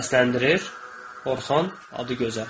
Səsləndirir: Orxan Adıgözəl.